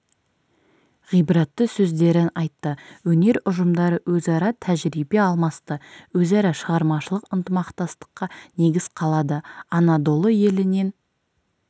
ғибратты сөздерін айтты өнер ұжымдары өзара тәжірибе алмасты өзара шығармашылық ынтымақтастыққа негіз қалады анадолы елінен